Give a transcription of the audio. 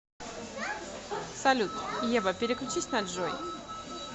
салют ева переключись на джой